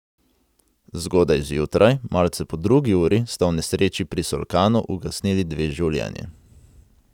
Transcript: Zgodaj zjutraj, malce po drugi uri, sta v nesreči pri Solkanu ugasnili dve življenji.